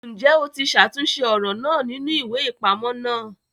Njẹ o tí ṣàtúnṣe ọran náà nínú iwe-ipamọ náà!